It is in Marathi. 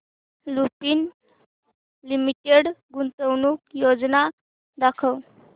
लुपिन लिमिटेड गुंतवणूक योजना दाखव